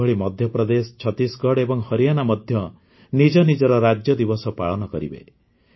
ସେହିଭଳି ମଧ୍ୟପ୍ରଦେଶ ଛତିଶଗଡ଼ ଏବଂ ହରିୟାଣା ମଧ୍ୟ ନିଜ ନିଜର ରାଜ୍ୟଦିବସ ପାଳନ କରିବେ